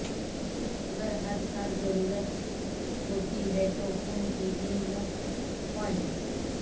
اگر ہر سال ضرورت ہوتی ہے تو خون کی تین مفت پوائنٹس